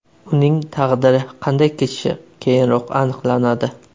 Uning taqdiri qanday kechishi keyinroq aniqlanadi.